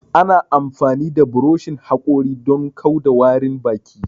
Ana amfani da buroshin haƙori don kau da warin baki